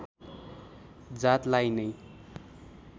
जातलाई नै